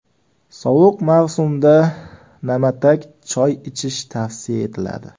Sovuq mavsumda na’matak choy ichish tavsiya etiladi.